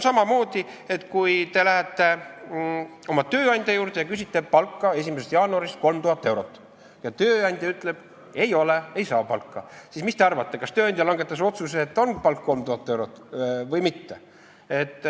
Samamoodi, kui te lähete oma tööandja juurde ja küsite 1. jaanuarist 3000 eurot palka, aga tööandja ütleb, et raha ei ole, ei saa palka, siis mis te arvate, kas tööandja langetas otsuse, et palk on 3000 eurot või mitte?